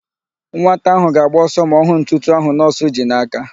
Nwata ahụ ga-agba ọsọ ma ọ hụ ntụtụ ahụ nọọsụ ji n'aka.